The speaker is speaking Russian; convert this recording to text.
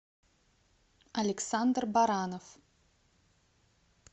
александр баранов